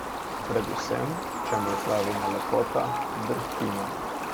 Pred vsem, čemur pravimo lepota, drhtimo.